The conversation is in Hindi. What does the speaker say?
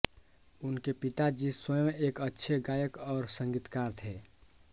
उनके पिताजी स्वयं एक अच्छे गायक और संगीतकार थे